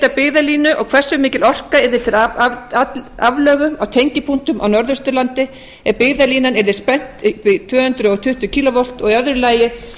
byggðalínu og hversu mikil orka yrði til aflögu á tengipunktum á norðausturlandi ef byggðalínan yrði spennt upp í tvö hundruð tuttugu kílóvolt og í öðru lagi